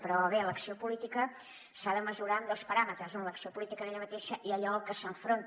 però bé l’acció política s’ha de mesurar amb dos paràmetres un l’acció política en ella mateixa i allò a què s’enfronta